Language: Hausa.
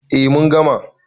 A mun gama